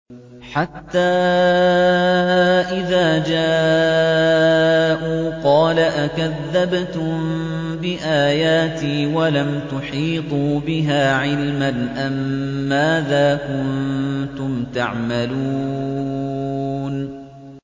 حَتَّىٰ إِذَا جَاءُوا قَالَ أَكَذَّبْتُم بِآيَاتِي وَلَمْ تُحِيطُوا بِهَا عِلْمًا أَمَّاذَا كُنتُمْ تَعْمَلُونَ